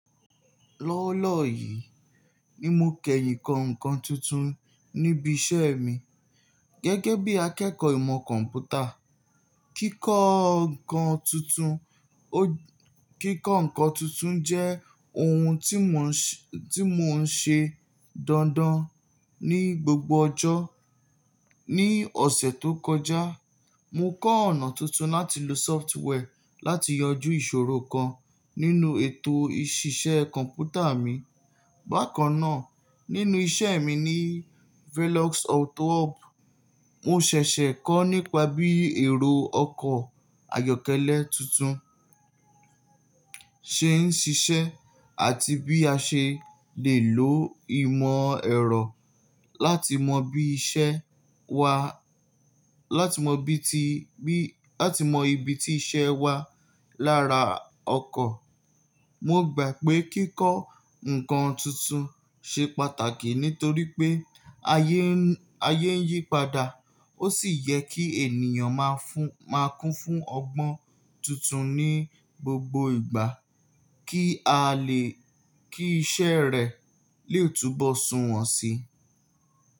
Lọ́wọ́lọ́wọ́ yìí ni mo kẹyìn kọ nǹkan tuntun ní ibi iṣẹ́ mi gẹ́gẹ́ bí i akẹ́kọ̀ọ́ ìmọ̀ kọ̀m̀pútà. Kíkọ nǹkan tuntun, kíkọ nǹkan tuntun jẹ́ ohun ti mo ṣe, ti mo ṣe dandan ni gbogbo ọjọ́. Ní ọ̀sẹ̀ tó kọjá, mo kọ ọ̀nà tuntun láti lo sọftweì láti yọjú ìṣòrò kan nínú ètò iṣiṣẹ́ kọ̀m̀pútà mi. Bákan náà, nínú iṣẹ́ mi ní Velox Auto Hub, mo ṣẹ̀ṣẹ̀ kọ́ nípa bí èrò ọkọ̀ ayọ́kẹ́lẹ́ tuntun ṣe ń ṣiṣẹ́ àti bí a ṣe lè lo ìmọ̀ ẹ̀rọ láti mọ bí iṣẹ́ wa, láti mọ ibi ti iṣẹ́ wa lára ọkọ̀. Mo gbà pé kí kọ nǹkan tuntun ṣe pàtàkì nítorí pé ayé ń yí padà. Ó sì yẹ kí ènìyàn má kún fún ọgbọ́n tuntun ní gbogbo ìgbà kí a lè kí iṣẹ́ rẹ̀ lè túnbọ́ sunwọ̀n síi.